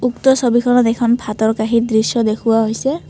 উক্ত ছবিখনত এখন ভাতৰ কাঁহীৰ দৃশ্য দেখুওৱা হৈছে।